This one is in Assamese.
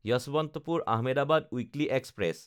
যশৱন্তপুৰ–আহমেদাবাদ উইকলি এক্সপ্ৰেছ